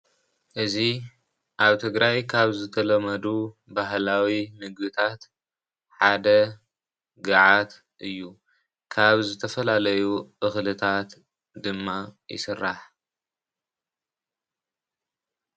እዚ ኣብ ትግራይ ካብ ዝተለመዱ ባህላዊ ምግብታት ሓደ ገዓት እዩ ።ካብ ዝተፈላለዩ እኽልታት ድማ ይስራሕ።